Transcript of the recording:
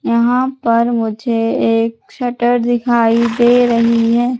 यहाँ पर मुझे एक शटर दिखाई दे रहीं हैं।